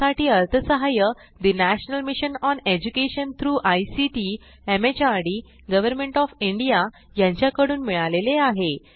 यासाठी अर्थसहाय्य national mission on education through ICT MHRD government of India यांच्याकडून मिळालेले आहे